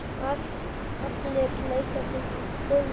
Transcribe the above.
Allir leika þeir golf.